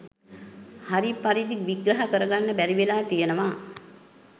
හරි පරිදි විග්‍රහ කරගන්න බැරිවෙලා තියෙනවා.